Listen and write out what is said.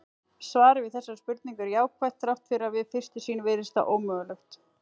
Svarið við þessari spurningu er jákvætt þrátt fyrir að við fyrstu sýn virðist það ómögulegt.